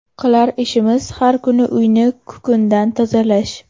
Qilar ishimiz har kuni uyni kukundan tozalash.